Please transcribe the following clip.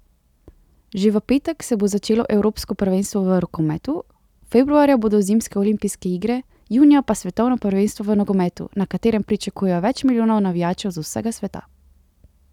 Že v petek se bo začelo evropsko prvenstvo v rokometu, februarja bodo zimske olimpijske igre, junija pa svetovno prvenstvo v nogometu, na katerem pričakujejo več milijonov navijačev z vsega sveta.